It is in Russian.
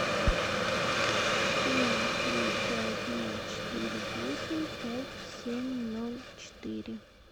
семь три пять ноль четыре восемь пять семь ноль четыре